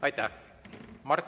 Aitäh!